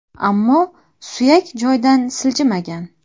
Ammo suyak joydan siljimigan.